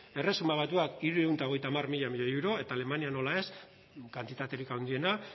erresuma batuak hirurehun eta hogeita hamar mila milioi euro eta alemania nola ez kantitaterik handiena